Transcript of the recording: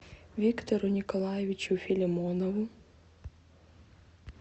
виктору николаевичу филимонову